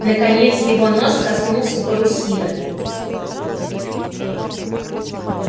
наконец его нос коснулся парусины